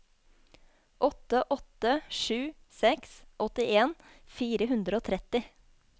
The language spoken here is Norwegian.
åtte åtte sju seks åttien fire hundre og tretti